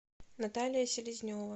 наталия селезнева